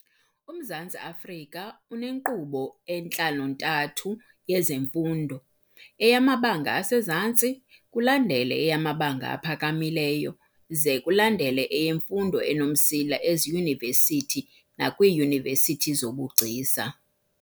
UMzantsi Afrika unenkqubo entlantlo-ntathu yezemfundo, eyamabanga asezantsi, kulandele eyamabanga aphakamileyo ze kulandele eyemfundo enomsila eziyunivesithi nakwiiyunivesithi zobugcisa.